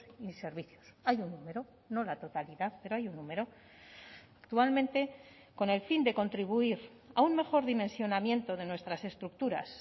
y servicios hay un número no la totalidad pero hay un número actualmente con el fin de contribuir a un mejor dimensionamiento de nuestras estructuras